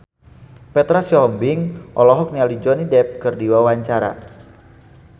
Petra Sihombing olohok ningali Johnny Depp keur diwawancara